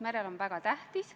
Otsus on vastu võetud.